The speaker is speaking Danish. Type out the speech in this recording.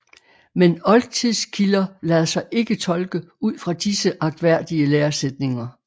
Men oldtidskilder lader sig ikke tolke ud fra disse agtværdige læresætninger